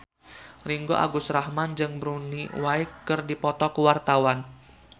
Ringgo Agus Rahman jeung Bonnie Wright keur dipoto ku wartawan